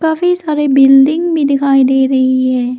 काफी सारे बिल्डिंग भी दिखाई दे रही है।